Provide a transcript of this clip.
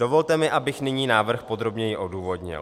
Dovolte mi, abych nyní návrh podrobněji odůvodnil.